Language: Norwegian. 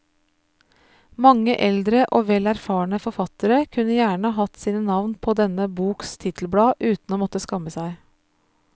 Mange eldre og vel erfarne forfattere kunne gjerne hatt sine navn på denne boks titelblad uten å måtte skamme seg.